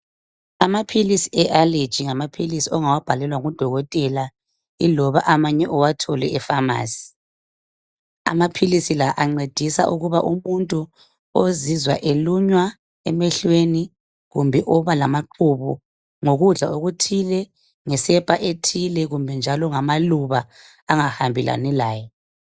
amaphilisi e allergy ngamaphilisi ongawabhalelwa ngudokotela iloba amanye uwathole e pharmarcy amaphilisi la ancedisa ukuba umuntu ozizwa elunya emehlweni kumbe oba lamaqubu ngokudla okuthile ngesepa ethile kumbe njalo ngamaluba angahambelani laye